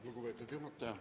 Lugupeetud juhataja!